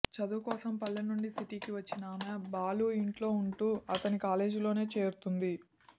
చదవుకోసం పల్లెనుంచి సిటీకి వచ్చిన ఆమె బాలు ఇంట్లో ఉంటూ అతని కాలేజీలోనే చేరుతుంది